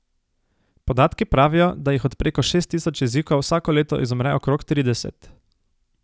Podatki pravijo, da jih od preko šest tisoč jezikov vsako leto izumre okrog trideset.